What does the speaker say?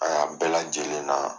A y'an bɛɛ lajɛlen na